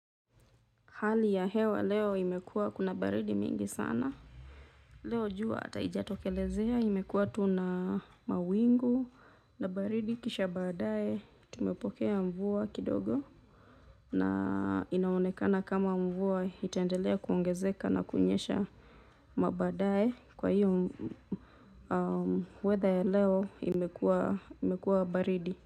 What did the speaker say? Hali ya hewa leo imekuwa kuna baridi mingi sana. Leo jua hata hijatokelezea imekuwa tu na mawingu na baridi kisha baadaye tumepokea mvua kidogo. Na inaonekana kama mvua itaendelea kuongezeka na kunyesha mabaadaye. Kwa hivo weather leo imekuwa baridi.